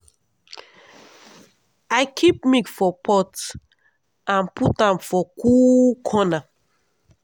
i dey keep milk for pot and put am for cool corner.